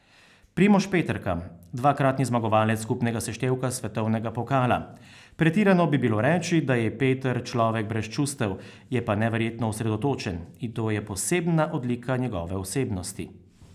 Primož Peterka, dvakratni zmagovalec skupnega seštevka svetovnega pokala: 'Pretirano bi bilo reči, da je Peter človek brez čustev, je pa neverjetno osredotočen, in to je posebna odlika njegove osebnosti.